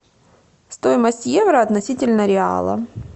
стоимость евро относительно реала